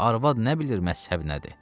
Arvad nə bilir məzhəb nədir?